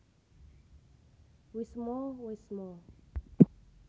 Wisma wésmo